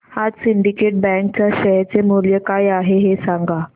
आज Syndicate Bank च्या share चे मूल्य काय आहे हे सांगा